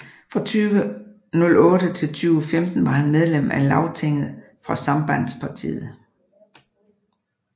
Fra 2008 til 2015 var han medlem af Lagtinget for Sambandspartiet